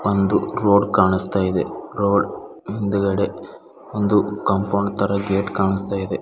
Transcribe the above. ಒಂದು ರೋಡ್ ಕಾಣಿಸ್ತಾ ಇದೆ ರೋಡ್ ಹಿಂದುಗಡೆ ಒಂದು ಕಾಂಪೌಂಡ್ ತರ ಗೇಟ್ ಕಾಣಿಸ್ತಾ ಇದೆ.